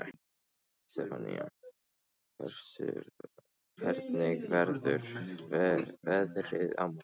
Stefánný, hvernig verður veðrið á morgun?